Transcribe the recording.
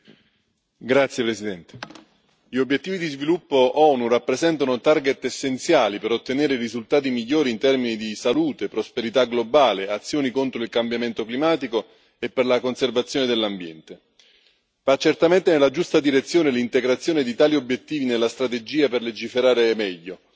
Signor Presidente, onorevoli colleghi, gli obiettivi di sviluppo dell'ONU rappresentano essenziali per ottenere i risultati migliori in termini di salute, prosperità globale, azioni contro il cambiamento climatico e conservazione dell'ambiente. Va certamente nella giusta direzione l'integrazione di tali obiettivi nella strategia per legiferare meglio,